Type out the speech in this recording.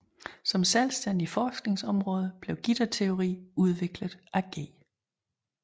Som selvstændigt forskningsområde blev gitterteori udviklet af G